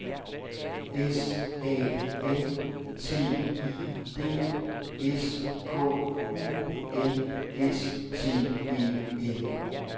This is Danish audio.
S A M T I D S K U N S T E N